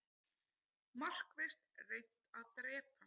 Markvisst reynt að drepa